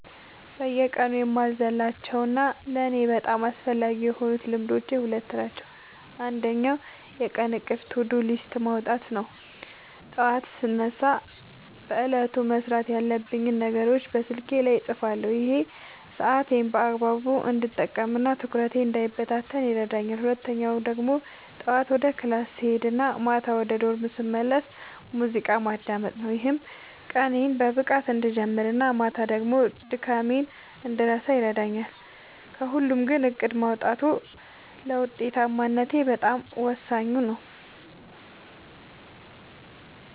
በየቀኑ የማልዘልላቸው እና ለእኔ በጣም አስፈላጊ የሆኑት ልማዶች ሁለት ናቸው። አንደኛው የቀን እቅድ (To-Do List) ማውጣት ነው፤ ጠዋት ስነሳ በዕለቱ መስራት ያለብኝን ነገሮች በስልኬ ላይ እጽፋለሁ። ይሄ ሰዓቴን በአግባቡ እንድጠቀምና ትኩረቴ እንዳይበታተን ይረዳኛል። ሁለተኛው ደግሞ ጠዋት ወደ ክላስ ስሄድ እና ማታ ወደ ዶርም ስመለስ ሙዚቃ ማዳመጥ ነው፤ ይህም ቀኔን በንቃት እንድጀምርና ማታ ደግሞ ድካሜን እንድረሳ ያደርገኛል። ከሁለቱ ግን እቅድ ማውጣቱ ለውጤታማነቴ በጣም ወሳኙ ነው።